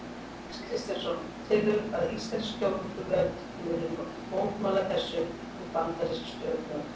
Jóhannes Kristjánsson: Telurðu að íslensk stjórnvöld muni mótmæla þessu við bandarísk stjórnvöld?